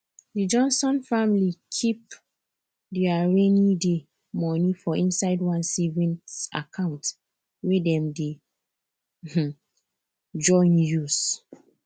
di johnson family keep their rainyday money for inside one savings account wey dem dey um join use